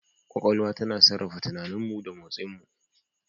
Kwakwalwa tana sarrafa tunaninmu da motsinmu.